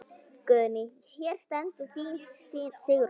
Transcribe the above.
Guðný: Hér stendur þín Sigrún?